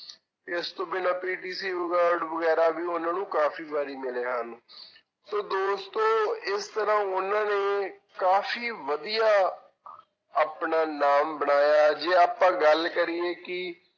ਇਸ ਤੋਂ ਬਿਨਾਂ PTC award ਵਗ਼ੈਰਾ ਵੀ ਉਹਨਾਂ ਨੂੰ ਕਾਫ਼ੀ ਵਾਰੀ ਮਿਲੇ ਹਨ ਸੋ ਦੋਸਤੋ ਇਸ ਤਰ੍ਹਾਂਂ ਉਹਨਾਂ ਨੇ ਕਾਫ਼ੀ ਵਧੀਆ ਆਪਣਾ ਨਾਮ ਬਣਾਇਆ, ਜੇ ਆਪਾਂ ਗੱਲ ਕਰੀਏ ਕਿ